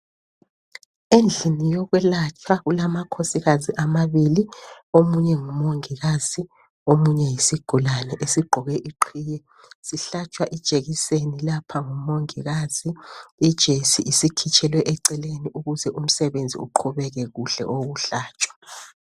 Endlini yokwelatshwa kulama khosikazi amabili omunye ngumongikazi omunye yisigulane esiqoke iqhiye, sihlatshwa ijekiseni lapha ngumongikazi. Ijesi isikhitshelwe eceleleni ukuze umsebenzi uqhubeke kuhle owokuhlatshwa.